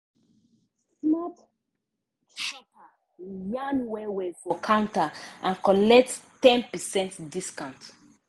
smart shopper yarn well well for counter and collect ten percent discount.